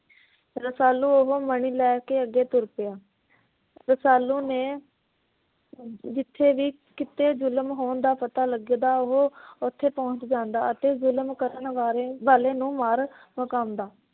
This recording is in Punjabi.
ਰਸਾਲੂ ਉਹ ਮਣੀ ਲੈ ਕੇ ਅਗੇ ਤੁਰ ਪਿਆ। ਰਸਾਲੂ ਨੇ ਜਿਥੇ ਵੀ ਕੀਤੇ ਜ਼ੁਲਮ ਹੋਣ ਦਾ ਪਤਾ ਲੱਗਦਾ, ਉਹ ਉਥੇ ਪਹੁੰਚ ਜਾਂਦਾ ਅਤੇ ਜ਼ੁਲਮ ਕਰਨ ਵਾਰੇ ਵਾਲੇ ਨੂੰ ਮਾਰ ਮੁਕਾਉਂਦਾ।